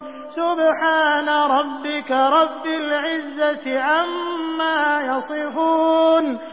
سُبْحَانَ رَبِّكَ رَبِّ الْعِزَّةِ عَمَّا يَصِفُونَ